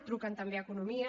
truquen també a economia